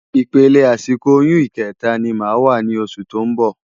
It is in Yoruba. Ipélé àsikó óyùn ikètá ni má wá ni ósù tó n bò